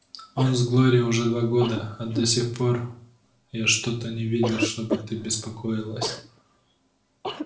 он с глорией уже два года а до сих пор я что-то не видел чтобы ты беспокоилась